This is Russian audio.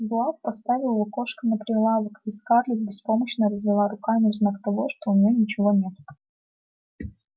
зуав поставил лукошко на прилавок и скарлетт беспомощно развела руками в знак того что у неё ничего нет